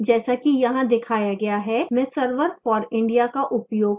i जैसा की यहाँ दिखाया गया है मैं server for india का उपयोग कर रही हूँ